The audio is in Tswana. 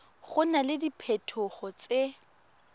go na le diphetogo tse